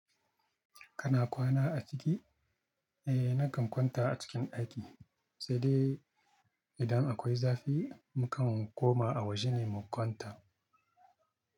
Kana kwana a ciki? Eh nakan kwanta a cikin aiki, sai dai idan akwai zafi mukan koma a waje ne mu kwanta.